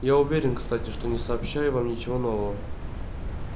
я уверен кстати что не сообщаю вам ничего нового